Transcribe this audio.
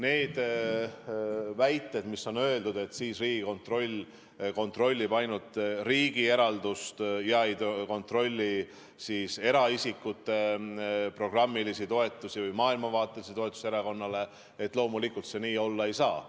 Need väited, mis on öeldud, et siis Riigikontroll kontrollib ainult riigi eraldist ega kontrolli eraisikute programmilisi toetusi või maailmavaatelisi toetusi erakonnale – loomulikult see nii olla ei saa.